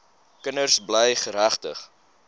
kinders bly geregtig